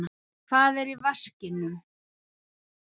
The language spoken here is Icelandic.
Hvað er í vaskinum?